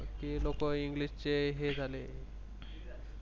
हे लोकं English चे हे झाले.